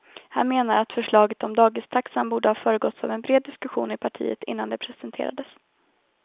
Han menar att förslaget om dagistaxan borde ha föregåtts av en bred diskussion i partiet innan det presenterades.